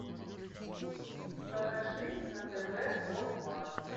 покажи на тв о два